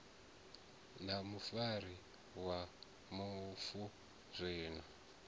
na mufarisi wa mufu zwino